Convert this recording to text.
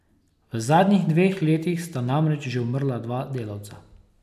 V zadnjih dveh letih sta namreč že umrla dva delavca.